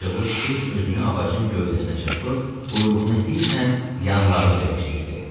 Acıqlı şir özünü ağacın gövdəsinə çırpır, quyruğunu hisslə yanlarına döyəşdirirdi.